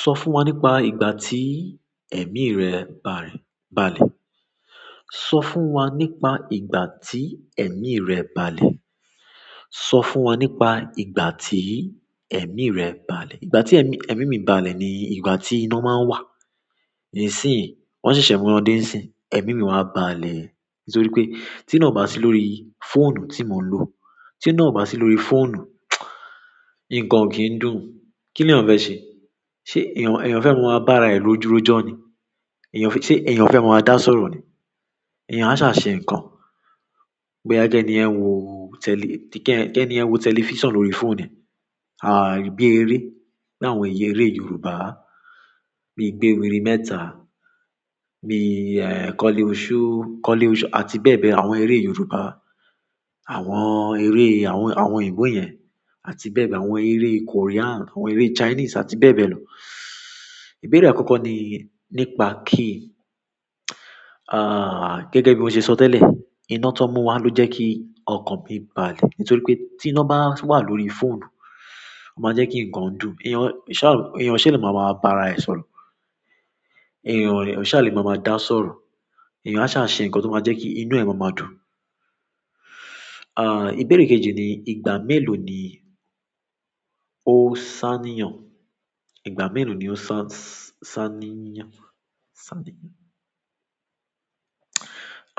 Sọ fún wa nípa ìgbà tí ẹ̀mí rẹ balẹ̀. Sọ fún wa nípa ìgbà tí ẹ̀mí rẹ balẹ̀. Sọ fún wa nípa ìgbà tí ẹ̀mí rẹ balẹ̀. Ìgbà tí ẹ̀mí, ẹ̀mí mi balẹ̀ ni ìgbà tí iná máa ń wà. Nísìnyìí, wọ́n ṣẹ̀ṣẹ̀ mú wọn dé nísìnyí. Ẹ̀mí mi wá balẹ̀ nítorí pé tí iná òbá sí lórí fóònù tí mò ń lò, tí iná obá sí lórí fóònù, nǹkan òkí ń dùn. Kí nìyàn fẹ́ ṣe? Ṣé èèyàn, èèyàn fẹ́ maa ma bá ara ẹ̀ rojú rojọ́ ni? Èèyàn fẹ́-- ṣé èèyàn fẹ́ ma ma dá sọ̀rọ̀ ni? Èèyàn á ṣá à ṣe nǹkan. Bóyá kẹ́ni yẹn wo tẹ́lì-- kí ẹni yẹn wo tẹlifíṣàn lórí i fóònù ẹ̀. À bí eré, bí àwọn ẹ̀ya eré Yorùbá. Bí i gbéwiri mẹ́ta bí i, eh, kọ́lé oṣó ó, kọ́lé oṣó-- àti bẹ́ẹ̀ bẹ́ẹ̀. Àwọn eré Yorùbá. Àwọn eré, àwọn, àwọn òyìnbó yẹn àti bẹ́ẹ̀ bẹ́ẹ̀. Àwọn eré Korean, àwọn eré Chinese àti bẹ́ẹ̀ bẹ́ẹ̀ lọ. Ìbéèrè àkọ́kọ́ ni nípa key, ah, gẹ́gẹ́ bí mo ṣe sọ tẹ́lẹ̀, iná tán mú wá ló jẹ́ kí ọkàn mi balẹ̀. Nítorí pé tí iná bá wà lórí fóònù, ó ma jẹ́ kí ǹkan dùn. Èèyàn, ò ṣá, èèyàn ò ṣá lè ma ma wá bá ara ẹ̀ sọ̀rọ̀. Èèyàn ò lè, ṣá lè ma ma dá sọ̀rọ̀. Èèyàn á ṣáà ṣe nǹkan tó ma jẹ́ kí inú ẹ̀ ma ma dùn. À, ìbéèrè kejì ni, ìgbà mélòó ni ó sánìyàn? Ìgbà mélòó ni ó san-s-sánìyàn? Sánìyàn?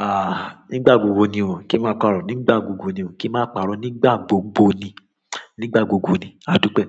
À, nígbà gbogbo ni ò. Kí n má parọ́. Nígbà gbogbo ni ò. Kí n má parọ́. Nígbà gbogbo ni. Nígbà gbogbo ni. Adúpẹ́.